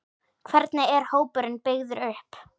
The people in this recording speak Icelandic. Hvernig er hópurinn byggður upp?